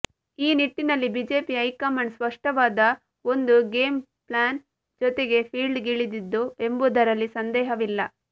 ಈ ನಿಟ್ಟಿನಲ್ಲಿ BJP high command ಸ್ಪಷ್ಟವಾದ ಒಂದು ಗೇಂ ಪ್ಲಾನ್ ಜೊತೆಗೇ ಫೀಲ್ಡಿಗಿಳಿದಿತ್ತು ಎಂಬುದರಲ್ಲಿ ಸಂದೇಹವಿಲ್ಲ